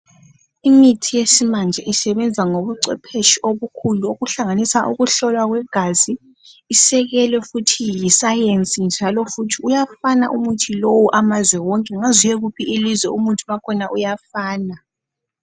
imithi yesimanje isebenza ngobu cwepheshi obukhulu obuhlanganisa ukuhlolwa kwegazi isikelo futhi yi science njalo futhi uyafana umuthi lo amazwe wonke ungaze uye kuphi umuthi wakhona uyafana